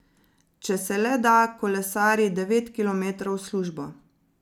Če se le da, kolesari devet kilometrov v službo.